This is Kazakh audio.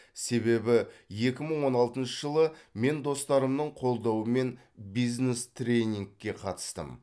себебі екі мың он алтыншы жылы мен достарымның қолдауымен бизнес тренингке қатыстым